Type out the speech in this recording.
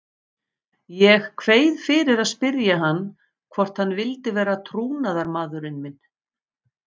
Ég kveið fyrir að spyrja hann hvort hann vildi vera trúnaðarmaðurinn minn.